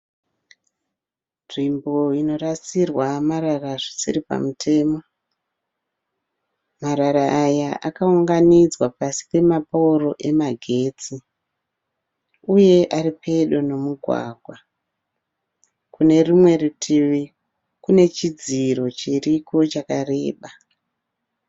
Nzvimbo inorasirwa marara zvisiri pamutemo. Marara aya akaunganidzwa pasi pemapooro emagetsi. Uye aripedo nemugwagwa . Kune rumwe rutivi kunechidziro chiriko chakareba.